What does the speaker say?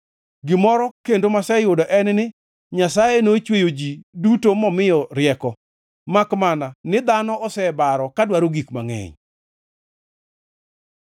Gimoro kendo maseyudo en ni Nyasaye nochweyo ji duto momiyo rieko, makmana ni dhano osebaro ka dwaro gik mangʼeny.”